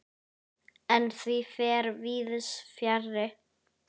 En því fer víðs fjarri.